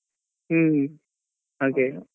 ಹ್ಮ್ ಹಾಗೇ.